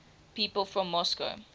people from moscow